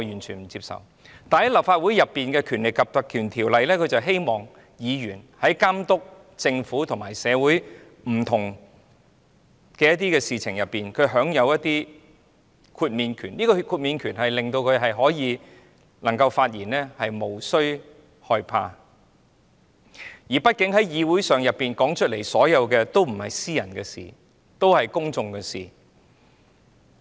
然而，在立法會內，《條例》旨在確保議員在監督政府和社會不同事情上，享有一定的豁免權，令他們發言時無須害怕，畢竟議會上討論的事情也不是私人的事，而是公眾的事。